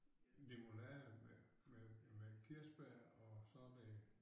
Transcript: Limonade med med med kirsebær og så det